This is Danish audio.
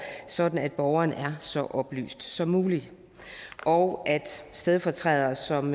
sådan at borgerne er så oplyste som muligt og at stedfortrædere som